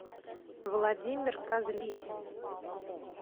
владимир козлитин